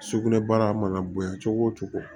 Sugunɛbara mana bonya cogo o cogo